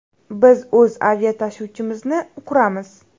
Biz o‘z aviatashuvchimizni quramiz.